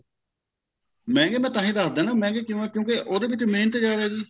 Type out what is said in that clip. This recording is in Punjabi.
ਮਹਿੰਗੇ ਮੈਂ ਤਾਹੀਂ ਦਸਦਾ ਮਹਿੰਗੇ ਕਿਉਂ ਐ ਕਿਉਂਕਿ ਉਹਦੇ ਵਿੱਚ ਮਿਹਨਤ ਜਿਆਦਾ ਐ ਜੀ